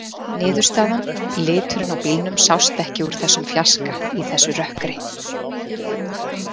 Niðurstaðan: Liturinn á bílnum sást ekki úr þessum fjarska í þessu rökkri.